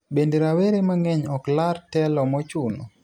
Bende rawere mang'eny ok lar telo mochuno.